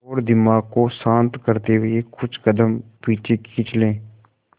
और दिमाग को शांत करते हुए कुछ कदम पीछे खींच लें